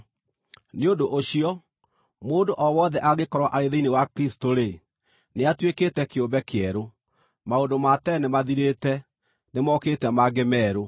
Nĩ ũndũ ũcio, mũndũ o wothe angĩkorwo arĩ thĩinĩ wa Kristũ-rĩ, nĩatuĩkĩte kĩũmbe kĩerũ; maũndũ ma tene nĩmathirĩte, nĩmookĩte mangĩ merũ!